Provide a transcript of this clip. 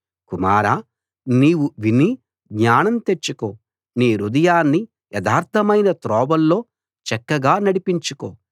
కుమారా నీవు విని జ్ఞానం తెచ్చుకో నీ హృదయాన్ని యథార్థమైన త్రోవల్లో చక్కగా నడిపించుకో